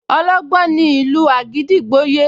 Ọlọ́gbọ́n ní ìlú àgídìgbo yé